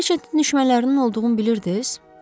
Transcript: Reçetin düşmənlərinin olduğunu bilirdiniz?